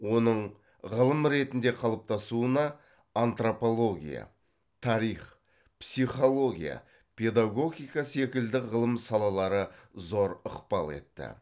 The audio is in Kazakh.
оның ғылым ретінде қалыптасуына антропология тарих психология педагогика секілді ғылым салалары зор ықпал етті